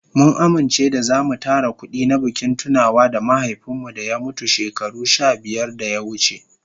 Mun amince da zamu tara kudi na bikin tunawa da mahaifin mu da ya mutu shekaru sha biyar da ya wuce.